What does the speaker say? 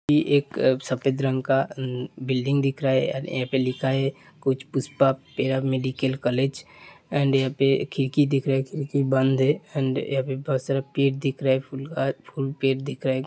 कि एक सफेद रंग का मम बिल्डिंग दिख रहा है यहां पर लिखा हुआ है कुछ Pushpa paramedical college and यहाँ पर खिड़की दिख रही है खिड़की बंद है एंड बहुत सारा पेड़ दिख रहा हैं फूल का ।